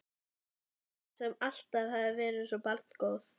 Sjáðu klettabeltið þarna undir nibbunni, svo kemur lítill steinn.